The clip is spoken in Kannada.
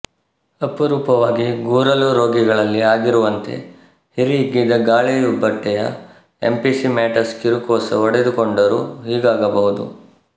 ಅಪರೂಪವಾಗಿ ಗೂರಲು ರೋಗಿಗಳಲ್ಲಿ ಆಗಿರುವಂತೆ ಹಿರಿಹಿಗ್ಗಿದ ಗಾಳಿಯುಬ್ಬಟೆಯ ಎಂಫಿಸೀಮ್ಯಾಟಸ್ ಕಿರುಕೋಶ ಒಡೆದುಕೊಂಡರೂ ಹೀಗಾಗಬಹುದು